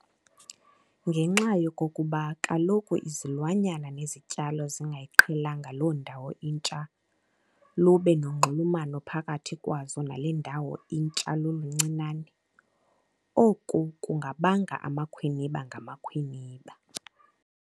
Ngenxa yokokuba kaloku izilwanyana nezityalo zingayiqhelanga loo ndawo intsha lube nonxulumano phakathi kwazo nale ndawo intsha luluncinane, oku kungabanga amakhwiniba ngamakhwiniba.